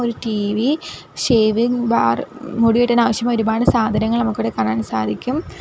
ഒരു TV shaving bar മുടി വെട്ടാൻ ആവശ്യമായ ഒരുപാട് സാധനങ്ങൾ നമുക്കിവിടെ കാണാൻ സാധിക്കും.